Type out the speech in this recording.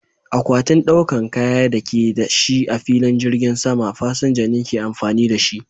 Akwatin ɗaukan kaya da ake da shi a filin jirgin sama, fasinja ne ke amfani da shi.